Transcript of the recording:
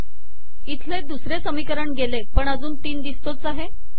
इथले दुसरे समीकरण गेले पण अजून तीन दिसतोच आहे